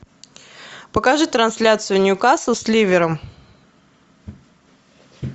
покажи трансляцию ньюкасл с ливером